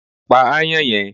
Pa aáyán yẹn